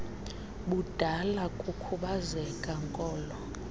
budala kukhubazeka nkolo